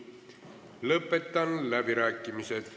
Lõpetan läbirääkimised.